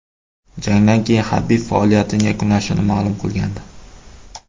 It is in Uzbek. Jangdan keyin Habib faoliyatini yakunlashini ma’lum qilgandi .